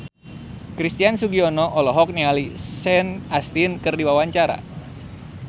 Christian Sugiono olohok ningali Sean Astin keur diwawancara